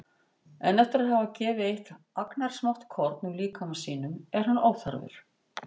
En eftir að hafa gefið eitt agnarsmátt korn úr líkama sínum er hann óþarfur.